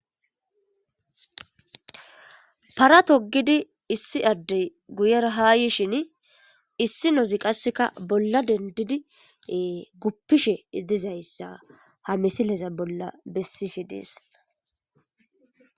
Para toggidi issi adde guyera haa yisheni isinozi qasi bolla dendidi gupishe dizayssa ha misileza bolla besishe desi.